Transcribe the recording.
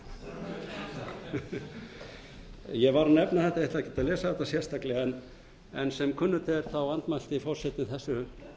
af sínum ég var að nefna þetta en ætla ekki að lesa þetta sérstaklega en sem kunnugt er andmælti forseti þessu